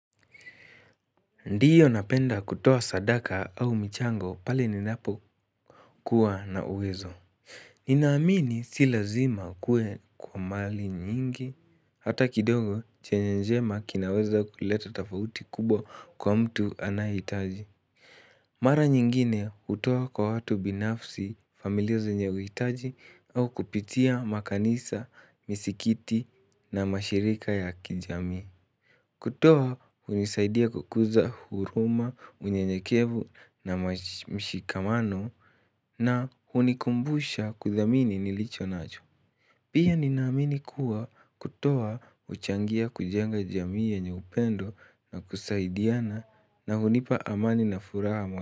Ndio napenda kutoaa sadaka au mchango pale ninapokuwa na uwezo. Ninaamini si lazima kuwe kwa mali nyingi. Hata kidogo chenye njema kinaweza kuleta tofauti kubwa kwa mtu anayehitaji Mara nyingine hutoa kwa watu binafsi familia zenye uhitaji au kupitia makanisa, misikiti na mashirika ya kijami. Kutoa hunisaidia kukuza huruma, unyenyekevu na mshikamano na hunikumbusha kuthamini nilicho nacho. Pia ninaamini kuwa kutoa huchangia kujenga jamii yenye upendo na kusaidiana na hunipa amani na furaha mo.